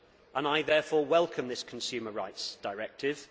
I therefore welcome this consumer rights directive.